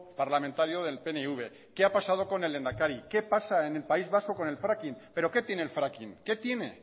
parlamentario del pnv qué ha pasado con el lehendakari qué pasa en el país vasco con el fracking pero que tiene el fracking qué tiene